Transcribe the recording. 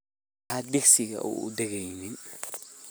Maxaa digsiga uudageynin?